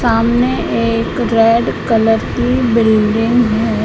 सामने एक red colour की बिल्डिंग है।